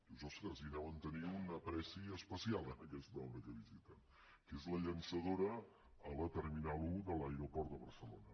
dius ostres li deuen tenir una estimació especial a aquesta obra que visiten que és la llançadora a la terminal un de l’aeroport de barcelona